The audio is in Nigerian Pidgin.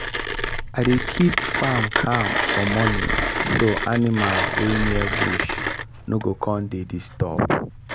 i dey keep farm calm for morning so animal wey near bush no go con dey disturbed.